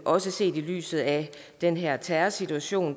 også ses i lyset af den her terrorsituation